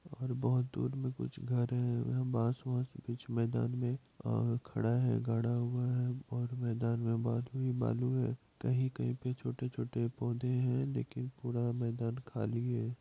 और बहोत दूर में कुछ घर हैं यहाँ बास वास कुछ मैदान में और खड़ा हैं गड़ा हुआ हैं और मैदान में बालू ही बालू हैं कही-कही पे छोटे-छोटे पौधे हैं लेकिन पूरा मैदान खाली हैं।